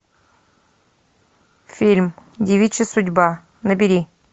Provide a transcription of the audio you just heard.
фильм девичья судьба набери